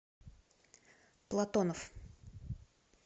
платонов